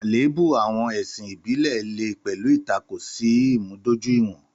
Àléébù àwọn ẹ̀sìn ìbílẹ̀ lè pẹ̀lú ìtakò sí ìmúdójúìwọ̀n.